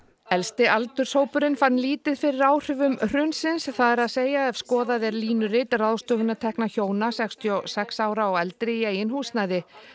elsti aldurshópurinn fann lítið fyrir áhrifum hrunsins það er að segja ef skoðað er línurit ráðstöfunartekna hjóna sextíu og sex ára og eldri í eigin húsnæði